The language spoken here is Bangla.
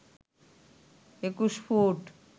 ২১ ফুট